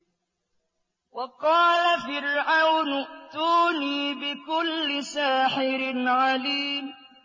وَقَالَ فِرْعَوْنُ ائْتُونِي بِكُلِّ سَاحِرٍ عَلِيمٍ